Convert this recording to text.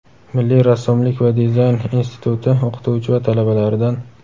Milliy rassomlik va dizayn instituti o‘qituvchi va talabalaridan.